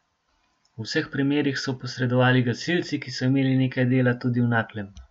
V vseh primerih so posredovali gasilci, ki so imeli nekaj dela tudi v Naklem.